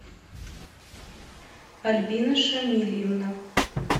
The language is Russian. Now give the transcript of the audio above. альбина шамильевна